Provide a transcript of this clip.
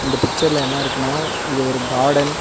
இந்தப் பிச்சர்ல என்ன இருக்குனா இது ஒரு கார்டன் .